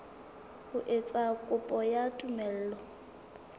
ho etsa kopo ya tumello